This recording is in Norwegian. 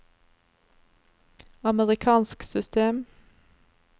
amerikansk system